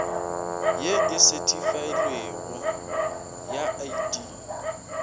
ye e sethifailwego ya id